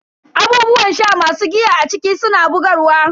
Abubuwan sha masu giya a ciki suna bugarwa.